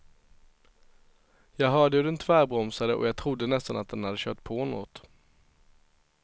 Jag hörde hur den tvärbromsade och jag trodde nästan att den hade kört på något.